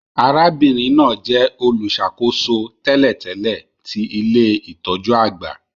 Arábìnrin náà jẹ olùṣàkóso tẹ́lẹ̀tẹ́lẹ̀ ti ilé-itọju àgbà